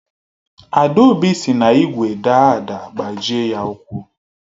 Adaobi si n’igwe daa ada gbajie ya ụkwụ